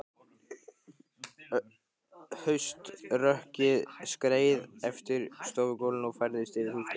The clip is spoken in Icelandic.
Hauströkkrið skreið eftir stofugólfinu og færðist yfir húsgögnin.